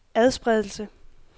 adspredelse